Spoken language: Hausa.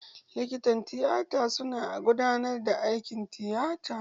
Likitan tiyata su na gudanar da aikin tiyata.